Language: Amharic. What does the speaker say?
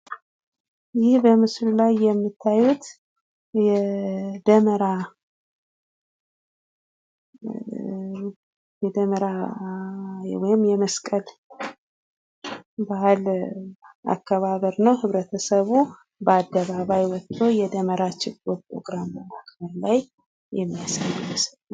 ይህ በምስሉ ላየ የምታዩት የደመራ፣ የደመራ ወይም የመስቀል ባህል አከባበር ነው። ህብረተሰቡ በአደባባይ ወጦ የደመራ ችቦ ፕሮግራም በማድረግ ላይ የሚያሳይ ምስል ነው።